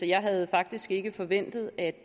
jeg havde faktisk ikke forventet at